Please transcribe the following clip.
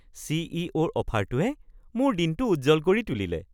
চি.ই.অ'.ৰ অফাৰটোৱে মোৰ দিনটো উজ্জ্বল কৰি তুলিলে।